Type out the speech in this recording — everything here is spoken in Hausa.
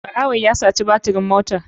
Ɓarawon ya saci batirin motar.